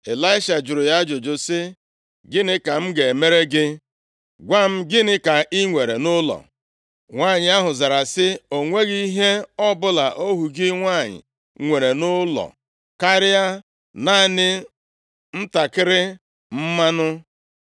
Ịlaisha jụrụ ya ajụjụ sị, “Gịnị ka m ga-emere gị? Gwa m, gịnị ka i nwere nʼụlọ?” Nwanyị ahụ zara sị, “O nweghị ihe ọbụla ohu gị nwanyị nwere nʼụlọ karịa naanị ntakịrị mmanụ.” + 4:2 Mmanụ bụ otu ngwa nri dị mkpa na nri niile ndị si na mpaghara ọwụwa anyanwụ na-eri. Mkpa ọ dị bụ na ọ na-edozi ahụ mmadụ.